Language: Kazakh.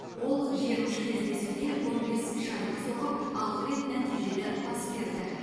ол жиырма үш кездесуде он бес шайба соғып алты рет нәтижелі пас берді